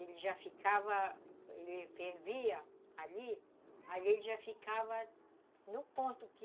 Ele já ficava, ele fervia ali, ali ele já ficava no ponto que